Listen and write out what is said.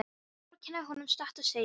Ég vorkenni honum satt að segja.